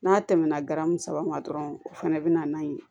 N'a tɛmɛna garamu saba ma dɔrɔn o fɛnɛ bina n'a ye